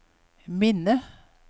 minne